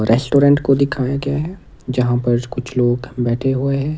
Restaurant को दिखाया गया है जहां पर कुछ लोग बैठे हुए हैं।